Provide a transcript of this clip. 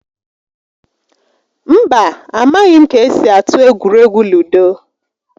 Mba, a maghị m ka-esi atụ egwuregwu ludo